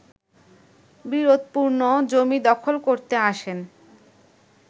বিরোধপূর্ণ জমি দখল করতে আসেন